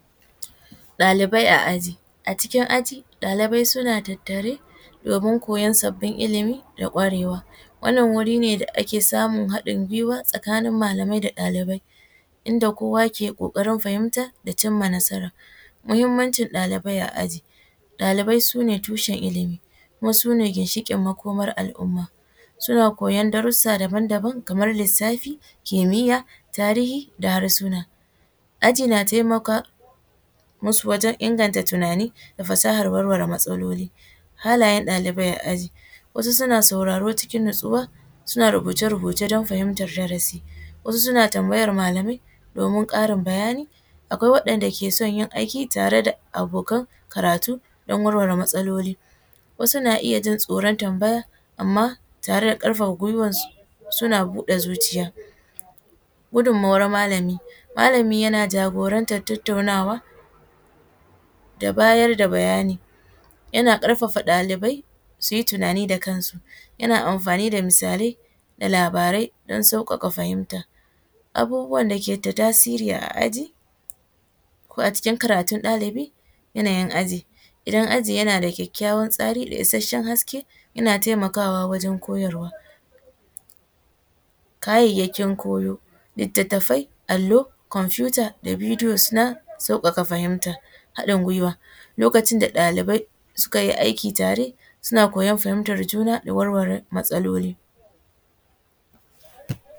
Ɗalibai a aji, a cikin aji ɗalibai suna tattare domin koyan sabbin ilimi da kwarewa wannan wuri ne da ake samun haɗin gwiwa tsakanin malamai da ɗalibai inda kowa ke kokarin fahimta da cimma nasara, muhimmancin ɗalibai a aji ɗalibai sune tushen ilimi kuma sune ginshikin makoman al’umma suna koyar darusa daban-daban kamar lissafi, kimiya, tarihi da harsuna, aji na taimaka masu wajen inganta tunani da fasahar warware matsaloli, halayan ɗalibai a aji, wasu suna sauraro cikin natsuwa, suna rubuce-rubuce don fahimtar darasi wasu suna tambayar malamai domin Karin bayani akwai waɗanɗa ke son yin aiki tare da abokan karatu don warware matsaloli wasu na iya jin tsoron tambaya amma tare da karfafa gwiwansu suna buɗe zuciya gunmuwar malami, malami yana jagorantar tattaunawa da bayar da bayani yana karfafa ɗalibai suyi tunani da kansu yana amfani da misalai da labarai don saukaka fahimta, abubuwan dake da tasiri a aji ko a cikin karatun ɗalibi, yanayin aji idan aji yana da kyakyawan tsari da isasshen haske yana taimakawa wajen koyarwa kayayyakin koyo littatafai, allo, computer, bidiyo suna saukaka fahimta, haɗin gwiwa lokacin da ɗalibai suka yi aiki tare suna koyar fahimtar juna da warware matsaloli.